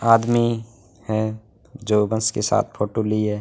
आदमी है जो बस के साथ फोटो लिए--